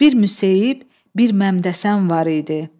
Bir Müseyib, bir Məmdəsən var idi.